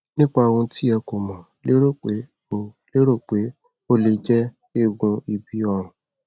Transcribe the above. nípa ohun tí ẹ kọ mo lérò pé ó lérò pé ó lè jẹ eegun ibi ọrùn